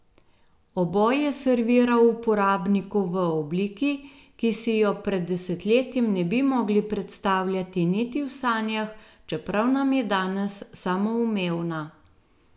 Oboje servira uporabniku v obliki, ki si jo pred desetletjem ne bi mogli predstavljati niti v sanjah, čeprav nam je danes samoumevna.